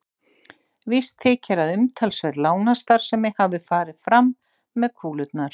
Víst þykir að umtalsverð lánastarfsemi hafi farið fram með kúlurnar.